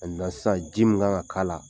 sisan, ji min kan ka k'a la.